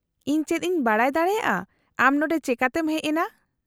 -ᱤᱧ ᱪᱮᱫ ᱤᱧ ᱵᱟᱰᱟᱭ ᱫᱟᱲᱮᱭᱟᱜᱼᱟ ᱟᱢ ᱱᱚᱸᱰᱮ ᱪᱮᱠᱟᱛᱮᱢ ᱦᱮᱡ ᱮᱱᱟ ?